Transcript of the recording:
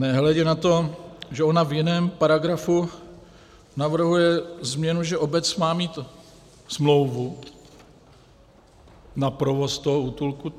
Nehledě na to, že ona v jiném paragrafu navrhuje změnu, že obec má mít smlouvu na provoz toho útulku.